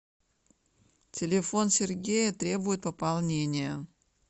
телефон сергея требует пополнения